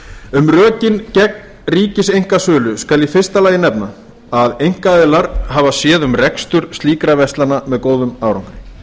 um rökin gegn ríkiseinkasölu skal í fyrsta lagi nefna að einkaaðilar hafa séð um rekstur slíkra verslana með góðum árangri